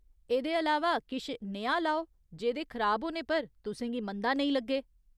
एह्दे अलावा, किश नेहा लाओ जेह्दे खराब होने पर तुसें गी मंदा नेईं लग्गे!